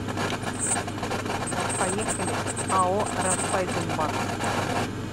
поехали ао райффайзенбанк